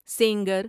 Sengar